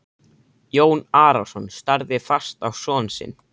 Jón Arason starði fast á son sinn.